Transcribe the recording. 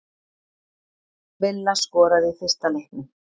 Villa skoraði í fyrsta leiknum